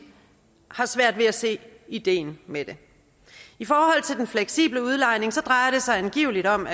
har svært ved at se ideen med det i forhold til den fleksible udlejning drejer det sig angiveligt om